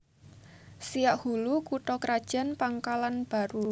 Siak Hulu kutha krajan Pangkalanbaru